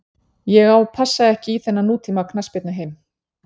Ég á passa ekki í þennan nútíma knattspyrnuheim.